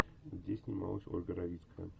где снималась ольга равицкая